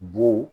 Bo